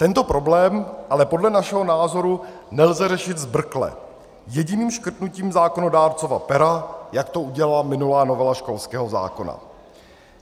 Tento problém ale podle našeho názoru nelze řešit zbrkle jediným škrtnutím zákonodárcova pera, jak to udělala minulá novela školského zákona.